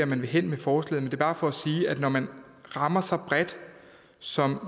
man vil hen med forslaget er bare for at sige at når man rammer så bredt som